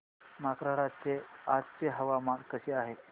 मार्कंडा चे आजचे हवामान कसे आहे